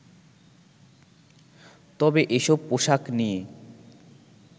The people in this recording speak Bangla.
তবে এসব পোশাক নিয়ে